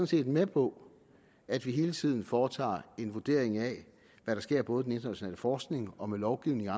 set med på at vi hele tiden foretager en vurdering af hvad der sker både i den internationale forskning og med lovgivningen